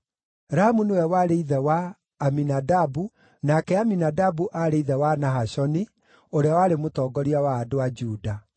Ramu nĩwe warĩ ithe wa Aminadabu, nake Aminadabu aarĩ ithe wa Nahashoni, ũrĩa warĩ mũtongoria wa andũ a Juda.